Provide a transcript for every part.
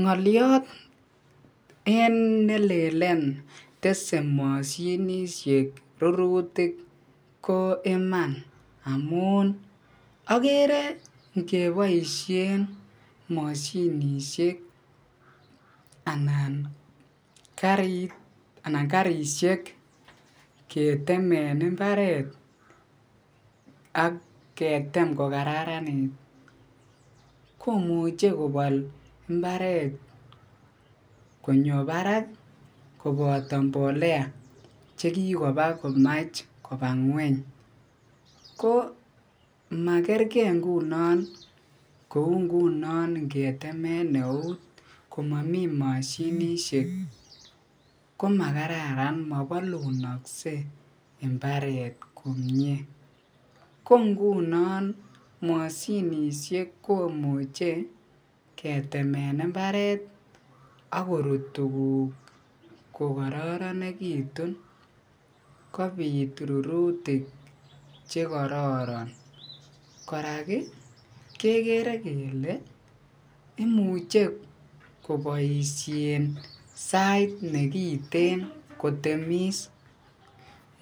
Ngoliot en nelelen tese mosinisiek rurutik ko iman amun ingeboishen moshinishek anan karit anan karishek ketemen imbaret ak ketem ko kararanit komuche kobol imbaret konyo barak koboto mbolea chekikomach komach koba ngweny, ko makerke ngunon kou ngunon ngetemen eut komomi mosinisiek komakararan mobolunokse imbaret komie, ko ngunon moshinishek komuche ketemen imbaret ak korut tukuk ko kororonekitun kobit rurutik chekororon, kora kekere kelee imuche koboishen sait nekiten kotemis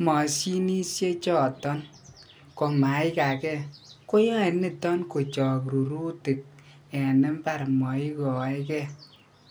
moshinishe choton komai kakee, koyoe niton kochok rurutik en imbar moikoeke.